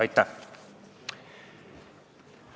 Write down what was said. Aitäh!